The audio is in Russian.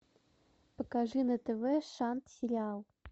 покажи на тв шант сериал